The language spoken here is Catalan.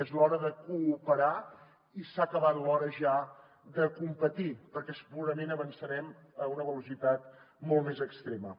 és l’hora de cooperar i s’ha acabat l’hora ja de competir perquè segurament avançarem a una velocitat molt més extrema